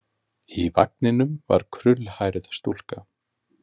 Í vagninum var krullhærð stúlka.